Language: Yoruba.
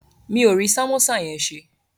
Mi ò rí sàmósà yẹn ṣe